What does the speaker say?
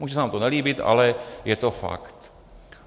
Může se nám to nelíbit, ale je to fakt.